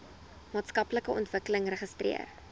maatskaplike ontwikkeling registreer